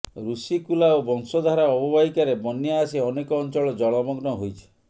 ଋଷିକୂଲା ଓ ବଂଶଧାରା ଅବବାହିକାରେ ବନ୍ୟା ଆସି ଅନେକ ଅଂଚଳ ଜଳମଗ୍ନ ହୋଇଛି